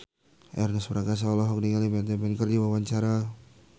Ernest Prakasa olohok ningali Matt Damon keur diwawancara